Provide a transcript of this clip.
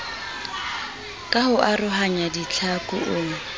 ka ho arohanya ditlhaku o